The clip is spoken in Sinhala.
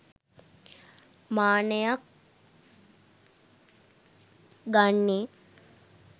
මානයක් ගන්නේ.